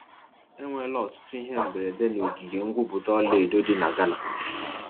Enwela ọtụtụ ihe mberede n'ogige ngwupụta ọlaedo dị na Ghana.